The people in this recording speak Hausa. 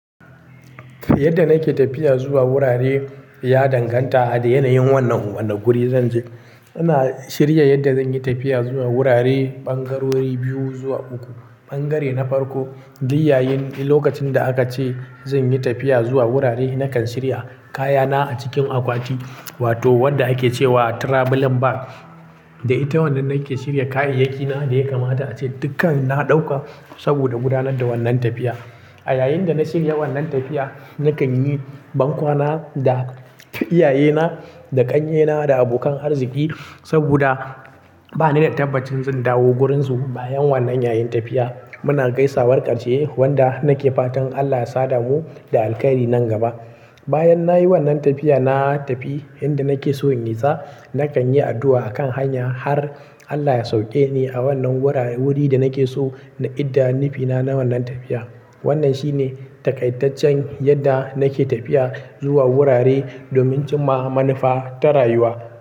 Yadda nake tafiya zuwa wurare ya danganta da yanayin wannan wanda guri zan je. Ina shirya yadda zan yi tafiya zuwa wurare ɓangarori biyu zuwa uku. Ɓangare na farko, duk yayin lokacin da aka ce zan yi tafiya zuwa wurare, nakan shirya kayana a cikin akwati wato wanda ake cewa travelling bag. Da ita wannan nake shirya kayayyakina, da ya kamata ace dukkan na ɗauka saboda gudanar da wannan tafiya. A yayin da na shirya wannan tafiya, nakan yi bankwana da iyayena, da ƙannyena, da abokan arziki. Saboda bani da tabbacin zan dawo gurin su bayan wannan yayin tafiya. Muna gaisawar ƙarshe wanda nake fatan Allah ya sada mu da alkhairi nan gaba. Bayan nayi wannan tafiya, na tafi inda nake so yin nisa. Nakan yi addu'a akan hanya har Allah ya sauke ni a wannan wurare wuri da nake so na idda nufina na wannan tafiya. Wannan shi ne taaƙaitaccen yadda nake tafiya zuwa wurare domin cimma manufa ta rayuwa.